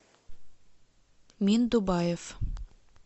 миндубаев